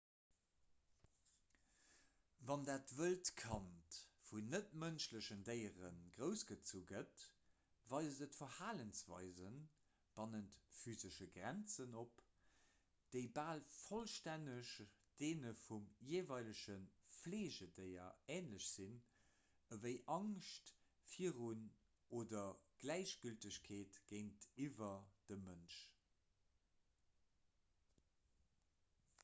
wann dat wëllt kand vun net-mënschlechen déiere groussgezu gëtt weist et verhalensweise bannent physesche grenzen op déi bal vollstänneg deene vum jeeweilege fleegedéier änlech sinn ewéi angscht virun oder gläichgültegkeet géintiwwer dem mënsch